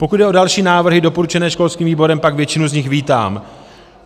Pokud jde o další návrhy doporučené školským výborem, pak většinu z nich vítám.